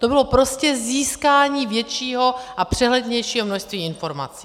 To bylo prostě získání většího a přehlednějšího množství informací.